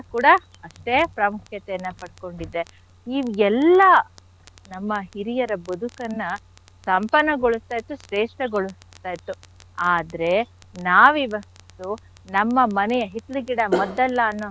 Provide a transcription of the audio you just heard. ಕೂಡ ಅಷ್ಟೇ ಪ್ರಾಮುಖ್ಯತೆಯನ್ನ ಪಡ್ಕೊಂಡಿದೆ. ಈ ಎಲ್ಲಾ ನಮ್ಮ ಹಿರಿಯರ ಬದುಕನ್ನ ಸಂಪನ್ನಗೊಳಿಸ್ತಾ ಇತ್ತು ಶ್ರೇಷ್ಟಗೊಳಿಸ್ತಾ ಇತ್ತು. ಆದ್ರೆ ನಾವ್ ಇವತ್ತು ನಮ್ಮ ಮನೆಯ ಹಿತ್ಲ್ ಗಿಡ ಮದ್ದಲ್ಲ ಅನ್ನೋ.